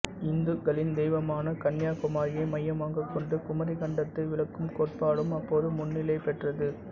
இந்துக்களின் தெய்வமான கன்யா குமாரியை மையமாகக் கொண்டு குமரிக் கண்டத்தை விளக்கும் கோட்பாடும் அப்போது முன்னிலை பெற்றது